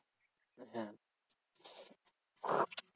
হ্যাঁ